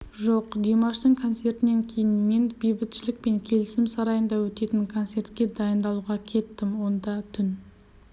жоқ димаштың концертінен кейін мен бейбітшілік пен келісім сарайында өтетін концертке дайындалуға кеттім онда түн